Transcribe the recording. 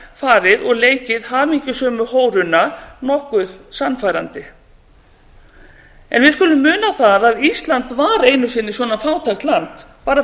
farið og leikið hamingjusömu hóruna nokkuð sannfærandi við skulum muna það að ísland var einu sinni svona fátækt land bara